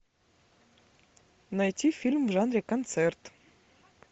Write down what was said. найти фильм в жанре концерт